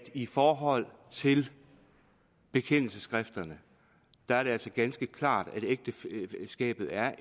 i forhold til bekendelsesskrifterne er det altså ganske klart at ægteskabet er